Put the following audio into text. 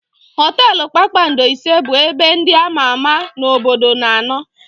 Họtelụ kpakpando ise bụ ebe ndị ama ama n'obodo na-anọ.